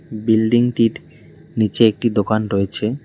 বিল্ডিংটির নীচে একটি দোকান রয়েছে।